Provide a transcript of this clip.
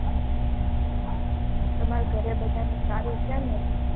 તમારા ઘરે બધાને સારું છેને એમ